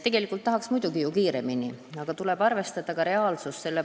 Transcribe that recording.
Tegelikult tahaks muidugi kiiremini, aga tuleb arvestada ka reaalsust.